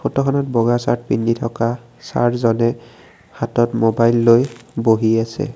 ফটোখনত বগা চাৰ্ট পিন্ধি থকা চাৰজনে হাতত মোবাইল লৈ বহি আছে।